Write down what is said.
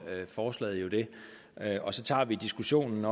forslaget jo det og så tager vi diskussionen